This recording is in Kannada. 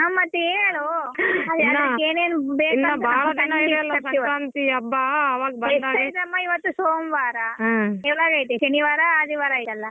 ಹ್ಮ್ ಮತ್ತ್ ಹೇಳು ಶನಿವಾರ ರವಿವಾರ ಆಯ್ತಲ್ಲ.